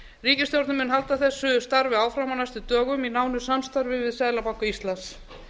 ríkisstjórnin mun halda þessu starfi áfram á næstu dögum í nánu samstarfi við seðlabanka íslands